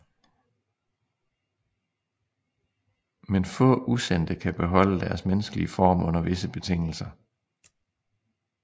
Men få usendte kan beholde deres menneskelig form under visse betingelser